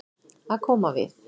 Að koma við